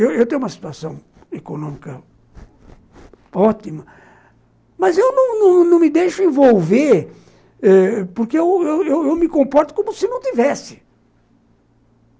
Eu tenho uma situação econômica ótima, mas eu não não não me deixo envolver porque eu eu eu me comporto como se não tivesse.